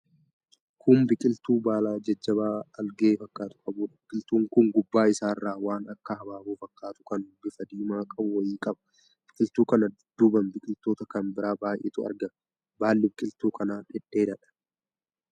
kun biqiltuu baala jajjabaa algee fakkaatu qabuudha, biqiltuun kun gubbaa isaarraan waan akka habaaboo fakkaatu kan bifa diimaa qabu wayii qaba. Biqiltuu kana dudduubaan biqiloota kan biraa baay'eetu argama. Baalli biqiltuu kana dhedheeraadha.